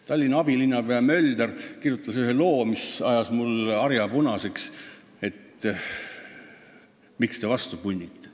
Tallinna abilinnapea Mölder kirjutas ühe loo, mis ajas mul harja punaseks: ta küsis, miks te vastu punnite.